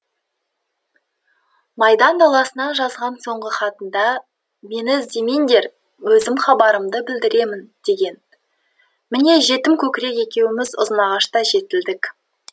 майдан даласынан жазған соңғы хатында мені іздемеңдер өзім хабарымды білдіремін деген міне жетімкөкірек екеуміз ұзынағашта жетілдік